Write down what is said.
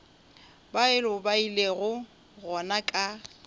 bao ba ilego gona ka